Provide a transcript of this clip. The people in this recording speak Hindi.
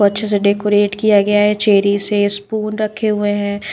अच्छे से डेकोरेट किया गया है चेरी से स्पून रखे हुए हैं।